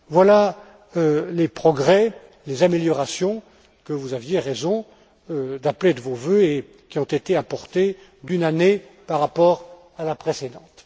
Voilà les progrès, les améliorations que vous aviez raison d'appeler de vos vœux et qui ont été apportés d'une année par rapport à la précédente.